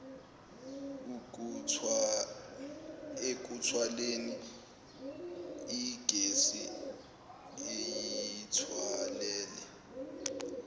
ekuthwaleni igesi eyithwalele